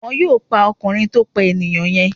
Wọ́n yóò pa ọkùnrin tó pà enìyàn yen